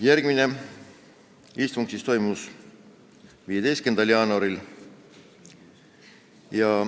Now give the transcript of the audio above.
Järgmine istung toimus 15. jaanuaril.